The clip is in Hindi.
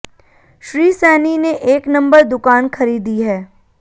श्री सैनी ने एक नंबर दुकान खरीदी है